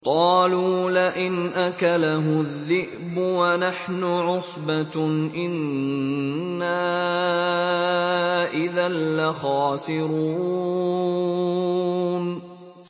قَالُوا لَئِنْ أَكَلَهُ الذِّئْبُ وَنَحْنُ عُصْبَةٌ إِنَّا إِذًا لَّخَاسِرُونَ